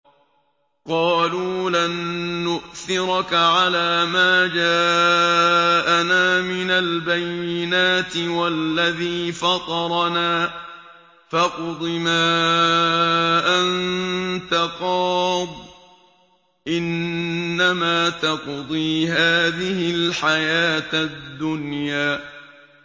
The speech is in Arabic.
قَالُوا لَن نُّؤْثِرَكَ عَلَىٰ مَا جَاءَنَا مِنَ الْبَيِّنَاتِ وَالَّذِي فَطَرَنَا ۖ فَاقْضِ مَا أَنتَ قَاضٍ ۖ إِنَّمَا تَقْضِي هَٰذِهِ الْحَيَاةَ الدُّنْيَا